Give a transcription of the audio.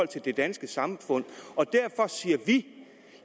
det danske samfund og derfor siger vi